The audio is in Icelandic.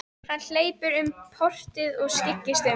Hann hleypur um portið og skyggnist um.